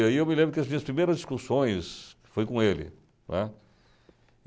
E aí eu me lembro que as minhas primeiras discussões foí com ele, né.